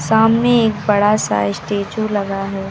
सामने एक बड़ा सा स्टैचू लगा है।